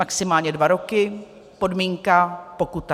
Maximálně dva roky, podmínka, pokuta.